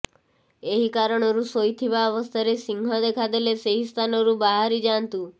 ଏହିକାରଣରୁ ଶୋଇଥିବା ଅବସ୍ଥାରେ ସିଂହ ଦେଖାଦେଲେ ସେହି ସ୍ଥାନରୁ ବାହାରି ଯାଆନ୍ତୁ